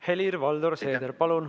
Helir-Valdor Seeder, palun!